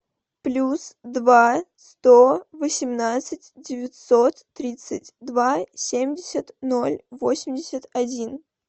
плюс два сто восемнадцать девятьсот тридцать два семьдесят ноль восемьдесят один